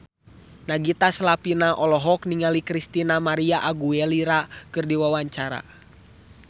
Nagita Slavina olohok ningali Christina María Aguilera keur diwawancara